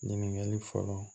Ɲininkali fɔlɔ